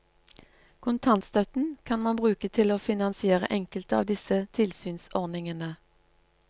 Kontantstøtten kan man bruke til å finansiere enkelte av disse tilsynsordningene.